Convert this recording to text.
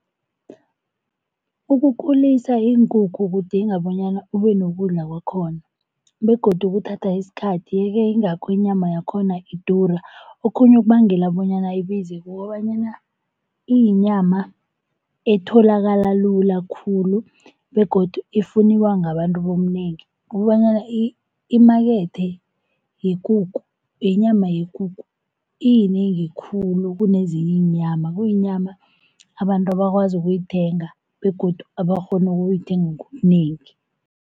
Ukukhulisa iinkukhu kudinga bonyana ube nokudla kwakhona, begodu kuthatha isikhathi yeke yingakho inyama yakhona idura. Okhunye okubangela bonyana ibize kukobanyana iyinyama etholakala lula khulu begodu ifunwa ngabantu ngobunengi, kobanyana imakethe yekukhu yenyama yekukhu iyinengi khulu kunezinye iinyama kuyinyama abantu abakwazi ukuyithenga begodu abakghona ukuyithenga ngobunengi.